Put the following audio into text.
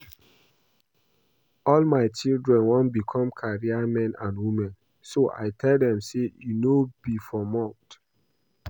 All my children wan become career men and women so I tell dem say e no be for mouth